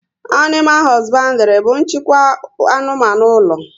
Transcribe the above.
Animal hosbandiri bu nchịkwa anụmanụ ụlọ